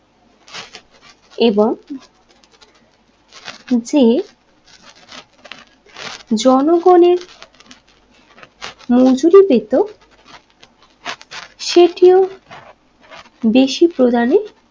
এবং যে জনগণের মজুরি পেতো সেটিও বেশি প্রদানে